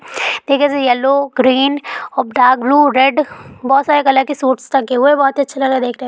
देखने से yellow green और डार्क ब्लू रेड बहुत सारे कलर के सूट्स टंगें हुए हैं बहुत ही अच्छे लग रहे हैं देखने में।